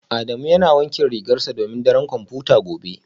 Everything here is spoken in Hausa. Adamu yana wankin rigarsa domin daren kwamfuta gobe